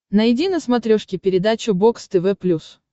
найди на смотрешке передачу бокс тв плюс